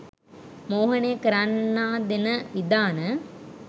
මෝහනය කරන්නා දෙන විධාන